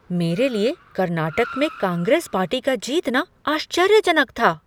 मेरे लिए कर्नाटक में कांग्रेस पार्टी का जीतना आश्चर्य जनक था।